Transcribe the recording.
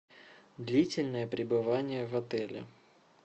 длительное пребывание в отеле